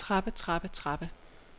trappe trappe trappe